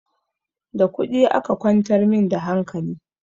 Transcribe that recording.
Da kuɗi aka kwantar min da hankali